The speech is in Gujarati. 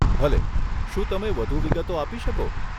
ભલે, શું તમે વધુ વિગતો આપી શકો?